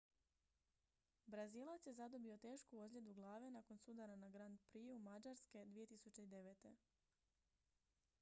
brazilac je zadobio tešku ozljedu glave nakon sudara na grand prixu mađarske 2009